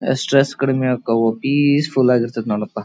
Stress ಕಡಿಮೆ ಆಗ್ತವು peaceful ಆಗಿರ್ತಾವ ನೋಡಪಾ.